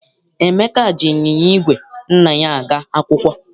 Emeka ji ịnyịnya igwe nna ya aga akwụkwọ.